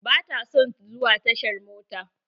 Ba ta son zuwa tashar mota.